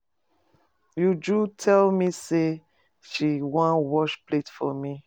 Uju tell me say she one wash plate for me.